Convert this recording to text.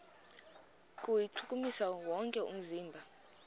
kuwuchukumisa wonke umzimba